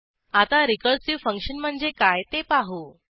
आता recursive function म्हणजे काय ते पाहू